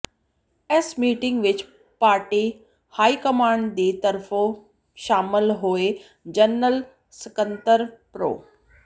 ਇਸ ਮੀਟਿੰਗ ਵਿਚ party high command ਦੀ ਤਰਫੋਂ ਸ਼ਾਮਲ ਹੋਏ ਜਨਰਲ ਸਕੱਤਰ ਪ੍ਰੋ